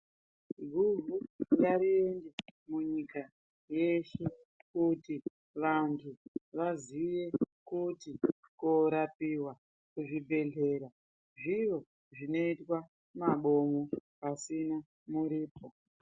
Guhu ngariende munyika yeshe kuti vantu vaziye kuti korapiwa kuzvibhehleya zviro zvinoitwa mabomo pasina muripo.